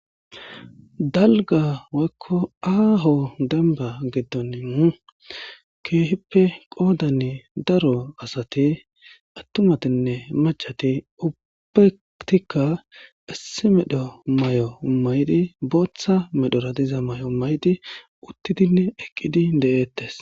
Dalga Woyko aho dembba gidoni Kehippe Qodani daro Asati maccati Ubatika issimedhi Mayo mayidi Botha medhora diza mayo uttidine eqqidi Dettes